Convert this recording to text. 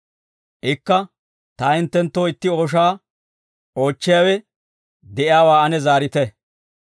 Ikka, «Ta hinttena itti ooshaa oochchiyaawe de'iyaawaa ane zaarite.